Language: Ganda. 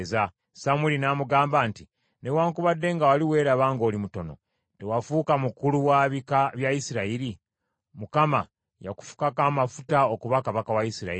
Samwiri n’amugamba nti, “Newaakubadde nga wali weeraba ng’oli mutono, tewafuuka mukulu wa bika bya Isirayiri? Mukama yakufukako amafuta okuba kabaka wa Isirayiri.